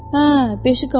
Hə, beşi qalıb.